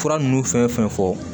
Fura ninnu fɛn fɛn fɔ